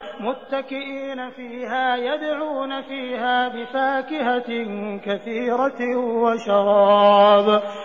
مُتَّكِئِينَ فِيهَا يَدْعُونَ فِيهَا بِفَاكِهَةٍ كَثِيرَةٍ وَشَرَابٍ